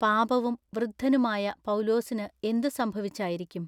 “പാപവും വൃദ്ധനുമായ പൗലോസിനു എന്തു സംഭവിച്ചായിരിക്കും?